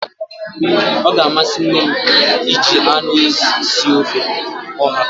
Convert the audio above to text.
Ọ ga-amasị nne m iji anụ ezi sie ofe ọha